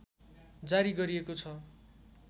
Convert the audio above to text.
जारी गरिएको छ